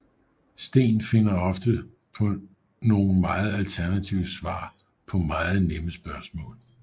Steen finder ofte på nogen meget alternative svar på meget nemme spørgsmål